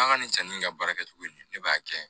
An ka nin sanni in ka baara kɛcogo ye ne b'a kɛ